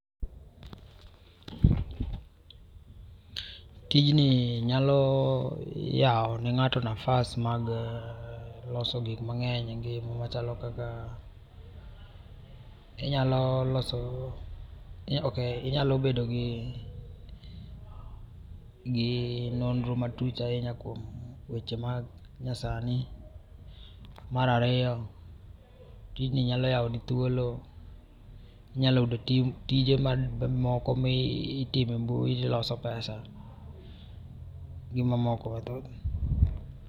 Tijni nyalo yao ne ngato nafas mag loso gik mangeny e ngima machalo kaka, inyalo loso ,ok, inyalo bedo gi, gi nonro matut ahinya kuom weche manyasani. Mar ariyo tijni nyalo yao ni thuolo inyalo yudo tije mamoko mitimo e mbui to iloso pesa gi mamoko